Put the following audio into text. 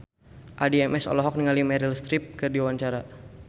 Addie MS olohok ningali Meryl Streep keur diwawancara